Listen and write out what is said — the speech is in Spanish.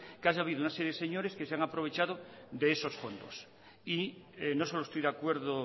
que han habido una serie de señores que se han aprovechado de esos fondos y no solo estoy de acuerdo